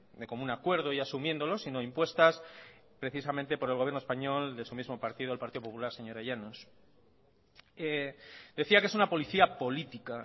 de común acuerdo y asumiéndolo sino impuestas precisamente por el gobierno español de su mismo partido el partido popular señora llanos decía que es una policía política